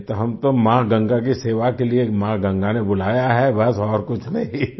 नहीं तो हम तो माँ गंगा की सेवा के लिए माँ गंगा ने बुलाया है बस और कुछ नहीं